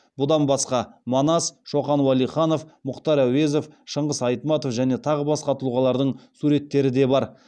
бұдан басқа манас шоқан уәлиханов мұхтар әуезов шыңғыс айтматов және тағы басқа тұлғалардың суреттері де бар